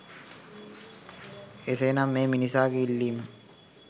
එසේ නම් මේ මිනිසාගේ ඉල්ලීම